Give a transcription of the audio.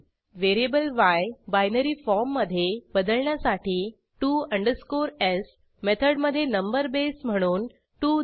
व्हेरिएबलy binary फॉर्ममधे बदलण्यासाठी to s मेथडमधे नंबर बेस म्हणून 2 द्या